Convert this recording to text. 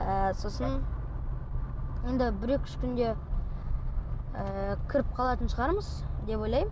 ы сосын енді бір екі үш күнде ы кіріп қалатын шығармыз деп ойлаймын